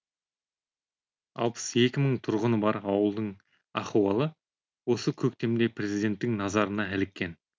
алпыс екі мың тұрғыны бар ауылдың ахуалы осы көктемде президенттің назарына іліккен